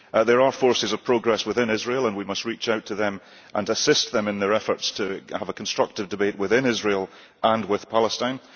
There are forces of progress within Israel, and we must reach out to them and assist them in their efforts to have a constructive debate within Israel and with Palestine.